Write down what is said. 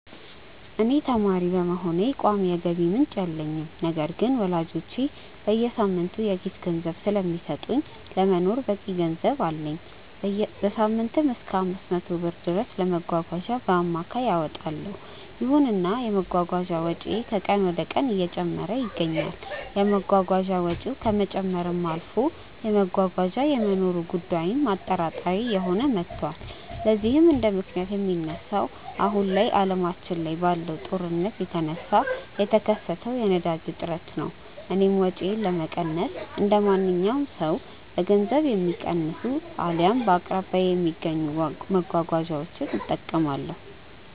እኔ ተማሪ በመሆኔ ቋሚ የገቢ ምንጭ የለኝም። ነገር ግን ወላጆቼ በየሳምንቱ የኪስ ገንዘብ ስለሚሰጡኝ ለመኖር በቂ ገንዘብ አለኝ። በሳምንትም እሰከ 500 ብር ድረስ ለመጓጓዣ በአማካይ አወጣለው። ይሁንና የመጓጓዣ ወጪዬ ከቀን ወደቀን እየጨመረ ይገኛል። የመጓጓዣ ወጪው ከመጨመርም አልፎ መጓጓዣ የመኖሩ ጉዳይም አጠራጣሪ እየሆነ መቷል። ለዚህም እንደምክንያት የሚነሳው አሁን ላይ አለማችን ላይ ባለው ጦርነት የተነሳ የተከሰተው የነዳጅ እጥረት ነው። እኔም ወጪዬን ለመቀነስ እንደማንኛውም ሰው በገንዘብ የሚቀንሱ አልያም በአቅራቢያዬ በሚገኙ መጓጓዣዎች እጠቀማለሁ።